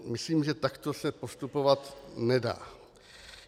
Myslím, že takto se postupovat nedá.